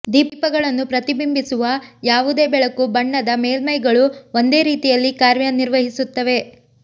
ದೀಪಗಳನ್ನು ಪ್ರತಿಬಿಂಬಿಸುವ ಯಾವುದೇ ಬೆಳಕು ಬಣ್ಣದ ಮೇಲ್ಮೈಗಳು ಒಂದೇ ರೀತಿಯಲ್ಲಿ ಕಾರ್ಯನಿರ್ವಹಿಸುತ್ತವೆ